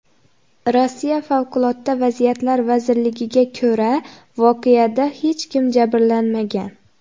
Rossiya Favqulodda vaziyatlar vazirligiga ko‘ra, voqeada hech kim jabrlanmagan.